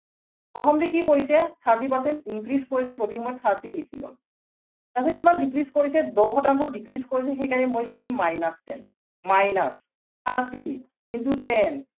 প্ৰথমতে কি কৰিছে thirty percent increase কৰিছে, গতিকে মই thirty লিখি লম। তাৰপিছত কিমান decrease কৰিছে, দহ শতাংশ decrease কৰিছে, সেই কাৰনে মই লিখিম minus ten, minus thirty into ten